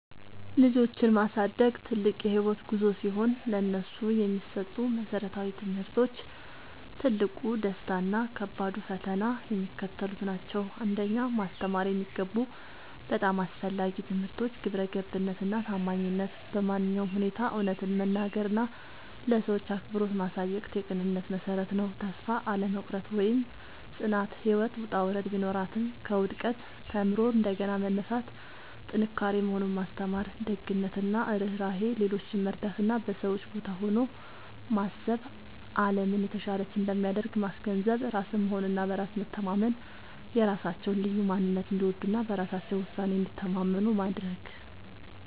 ልጆችን ማሳደግ ትልቅ የህይወት ጉዞ ሲሆን፥ ለነሱ የሚሰጡ መሰረታዊ ትምህርቶች፣ ትልቁ ደስታ እና ከባዱ ፈተና የሚከተሉት ናቸው 1. ማስተማር የሚገቡ በጣም አስፈላጊ ትምህርቶች ግብረገብነት እና ታማኝነት በማንኛውም ሁኔታ እውነትን መናገር እና ለሰዎች አክብሮት ማሳየት የቅንነት መሠረት ነው። ተስፋ አለመቁረጥ (ጽናት)፦ ህይወት ውጣ ውረድ ቢኖራትም፣ ከውድቀት ተምሮ እንደገና መነሳት ጥንካሬ መሆኑን ማስተማር። ደግነት እና ርህራሄ፦ ሌሎችን መርዳት እና በሰዎች ቦታ ሆኖ ማሰብ አለምን የተሻለች እንደሚያደርግ ማስገንዘብ። ራስን መሆን እና በራስ መተማመን፦ የራሳቸውን ልዩ ማንነት እንዲወዱ እና በራሳቸው ውሳኔ እንዲተማመኑ ማድረግ።